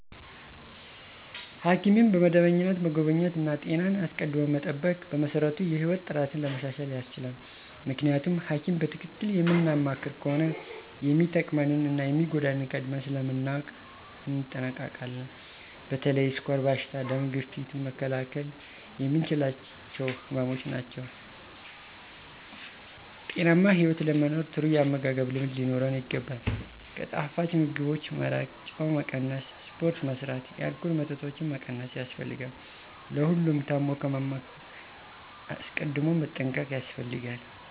ሐኪምን በመደበኛነት መጎብኘት እና ጤናን አስቀድሞ መጠበቅ በመሰረቱ የህይወት ጥራትን ለማሻሻል ያስችላል። ምክንያቱም ሀኪም በትክክል የምናማክር ከሆነ የሚጠቅመንን እና የሚጎዳንን ቀድመን ስለምናውቅ እንጠነቀቃለን። በተለይ የስኳር በሽታ፣ ደም ግፊት መከላከል የምንችላቸው ህመምች ናቸው። ጤናማ ህይወት ለመኖር ጥሩ ያመጋገብ ልምድ ሊኖረን ይገባል፣ ከጣፋጭ ምግቦች መራቅ፣ ጨው መቀነስ፣ ስፖርት መስራት፣ የአልኮል መጠጦችን መቀነስ ያስፈልጋል። ለሁሉም ታም ከመማቀቅ አስቀድም መጠንቀቅ ያስፈልጋል።